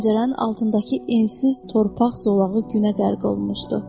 Pəncərənin altındakı ensiz torpaq zolağı günə qərq olmuşdu.